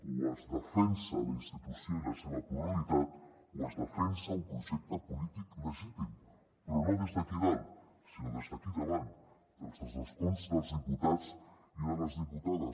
o es defensen la institució i la seva pluralitat o es defensa un projecte polític legítim però no des d’aquí dalt sinó des d’aquí davant des dels escons dels diputats i de les diputades